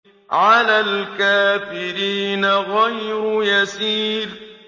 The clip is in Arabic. عَلَى الْكَافِرِينَ غَيْرُ يَسِيرٍ